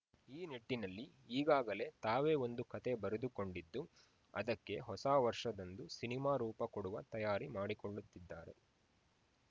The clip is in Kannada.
ಈ ನಿಟ್ಟಿನಲ್ಲಿ ಈಗಾಗಲೇ ತಾವೇ ಒಂದು ಕತೆ ಬರೆದುಕೊಂಡಿದ್ದು ಅದಕ್ಕೆ ಹೊಸ ವರ್ಷದಂದು ಸಿನಿಮಾ ರೂಪ ಕೊಡುವ ತಯಾರಿ ಮಾಡಿಕೊಳ್ಳುತ್ತಿದ್ದಾರೆ